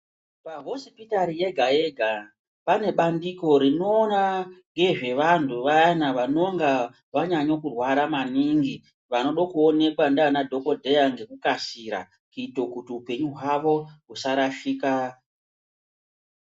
Pahosipitari yega-yega pane bandiko rinoona ngezvevantu vayana vanonga vanyanyo kurwara maningi. Vanodo kuonekwa ndiana dhakodheya ngekukasira kuito kuti upenyu hwavo husarashika.